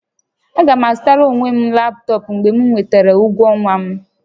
Aga m azụtara onwe m laptọọpụ mgbe m nwetara ụgwọ ọnwa m